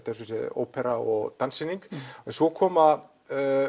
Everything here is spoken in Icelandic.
ópera og danssýning svo koma